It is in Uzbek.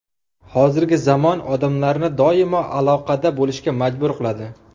Hozirgi zamon odamlarni doimo aloqada bo‘lishga majbur qiladi.